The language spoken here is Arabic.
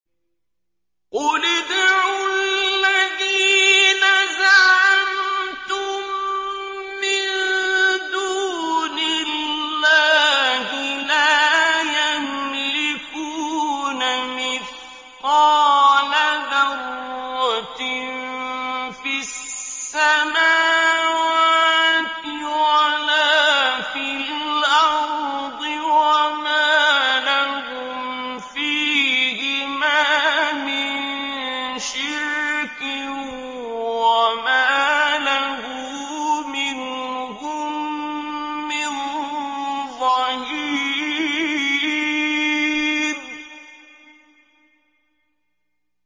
قُلِ ادْعُوا الَّذِينَ زَعَمْتُم مِّن دُونِ اللَّهِ ۖ لَا يَمْلِكُونَ مِثْقَالَ ذَرَّةٍ فِي السَّمَاوَاتِ وَلَا فِي الْأَرْضِ وَمَا لَهُمْ فِيهِمَا مِن شِرْكٍ وَمَا لَهُ مِنْهُم مِّن ظَهِيرٍ